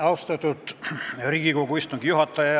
Austatud Riigikogu istungi juhataja!